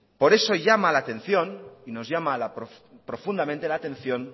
por eso llama la atención nos llama profundamente la atención